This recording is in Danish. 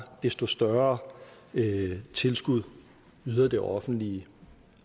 desto større tilskud yder det offentlige